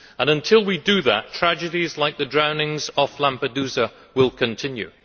Until we do that, tragedies like the drownings off Lampedusa will continue.